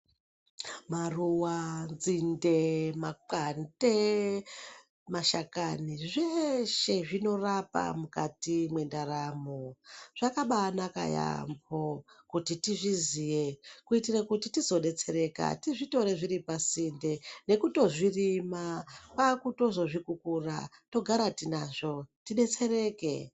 Maruwa nzinde makwande mashakani zveshe zvinorapa mukati mwendaramo zvakabaa naka yaampo kuti tizviziye kuitire kuti tizodetsereka tizvitore zviri pasinde nekutozvirima kwakutozozvikukura togara tinazvo tidetsereke.